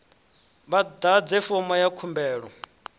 vha ḓadze fomo ya khumbelo